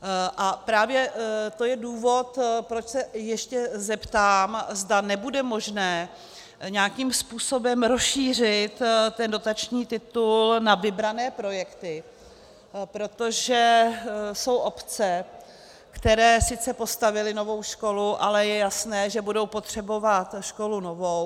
A právě to je důvod, proč se ještě zeptám, zda nebude možné nějakým způsobem rozšířit ten dotační titul na vybrané projekty, protože jsou obce, které sice postavily novou školu, ale je jasné, že budou potřebovat školu novou.